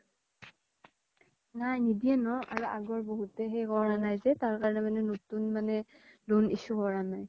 নাই নিদিয়ে আগৰ বহুতে সেই কৰা নাই যে তাৰকাৰনে মানে নতুন loan মানে issue কৰা নাই